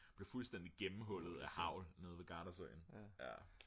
blev fuldstændig gennemhullet af hagl nede ved gardasøen jaer